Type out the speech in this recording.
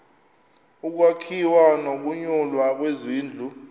ukwakhiwa nokunyulwa kwezindlu